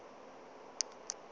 le ge a ka ba